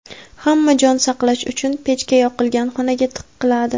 hamma jon saqlash uchun pechka yoqilgan xonaga tiqiladi.